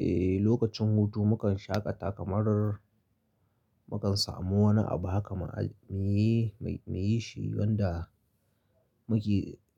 Eh, lokacin hutu mukan shaƙata kamar mukan samu wani abu haka mu yi shi wanda